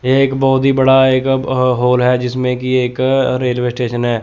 यह एक बहोत ही बड़ा एक हॉल है जिसमें की एक रेलवे स्टेशन है।